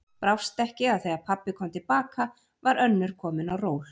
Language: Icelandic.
Brást ekki að þegar pabbi kom til baka var önnur komin á ról.